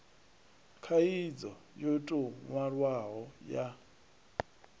khaidzo yo tou nwalwaho ya